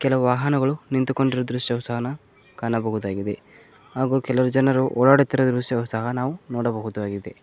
ಕೆಲವು ವಾಹನಗಳು ನಿಂತು ಕೊಂಡಿರುವ ದೃಶ್ಯ ಸಹ ನ ಕಾಣಬಹುದಾಗಿದೆ ಹಾಗು ಕೆಲವು ಜನರು ಓಡಾಡುತ್ತಿರುವ ದೃಶವು ಸಹ ನಾವು ನೋಡ ಬಹುದು ಆಗಿದೆ.